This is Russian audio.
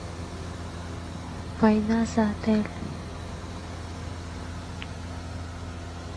война за отель